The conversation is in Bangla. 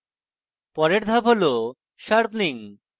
পরের ধাপ হল sharpening